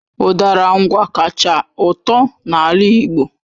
Udara Ngwá kacha ụtọ na ala Igbo